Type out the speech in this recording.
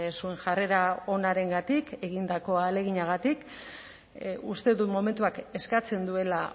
zuen jarrera onarengatik egindako ahaleginagatik uste dut momentuak eskatzen duela